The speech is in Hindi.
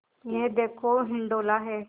यह देखो हिंडोला है